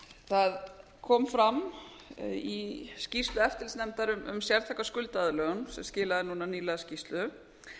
það kom fram í skýrslu eftirlitsnefndar um sértæka skuldaaðlögun sem skilaði núna nýlega skýrslu